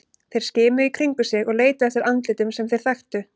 Þeir skimuðu í kringum sig og leituðu eftir andlitum sem þeir þekktu.